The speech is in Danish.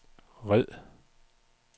red